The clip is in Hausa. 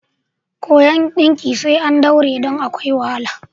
Koyon ɗinki sai an daure don akwai wahala.